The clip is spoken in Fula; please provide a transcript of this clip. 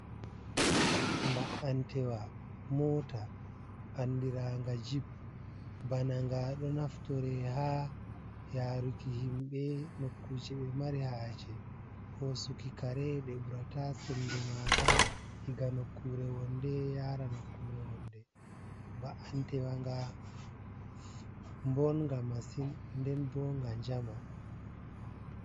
Mba’antewa mota andiranga jeep, bana nga ɗo naftore ha yaruki himbe nokkuje ɓe mari haje hosuki kare ɗe burata sembe maaga diga nokkure wonde yara nokkure wonde, mba’antewanga mbonnga masin nden bo nga jama.